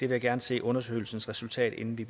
vil gerne se undersøgelsens resultat inden vi